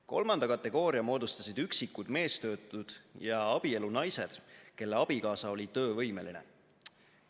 Kolmanda kategooria moodustasid üksikud meestöötud ja abielunaised, kelle abikaasa oli töövõimeline.